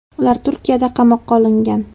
Ular Turkiyada qamoqqa olingan.